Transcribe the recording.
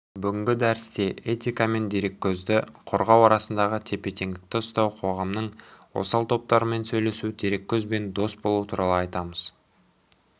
бүгінгі дәрісте этика мен дереккөздерді қорғау арасында тепе-теңдікті ұстау қоғамның осал топтарымен сөйлесу дереккөзбен дос болу туралы айтамыз